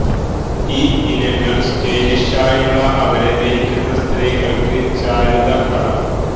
ഈ ഇനങ്ങൾ സ്റ്റൈലിഷായുള്ള അവരെ ധരിക്കുന്ന സ്ത്രീകൾക്ക് ചാരുത കടം